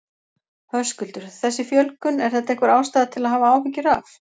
Höskuldur: Þessi fjölgun, er þetta einhver ástæða til að hafa áhyggjur af?